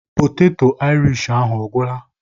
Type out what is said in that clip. Poteto Aịrish ahụ a gwụla?